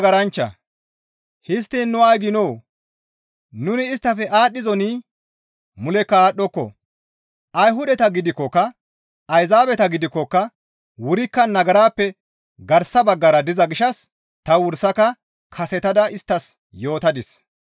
Histtiin nu ay giinoo? Nuni isttafe aadhdhizonii? Mulekka aadhdhoko. Ayhudata gidikkoka, Ayzaabeta gidikkoka wurikka nagarappe garsa baggara diza gishshas ta wursaka kasetada isttas yootadis.